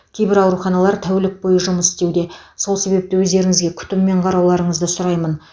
кейбір ауруханалар тәулік бойы жұмыс істеуде сол себепті өздеріңізге күтіммен қарауларыңызды сұраймын